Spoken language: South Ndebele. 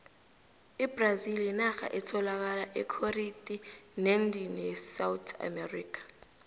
ibrazili yinarha etholaka ekhoriti neendini yesouth america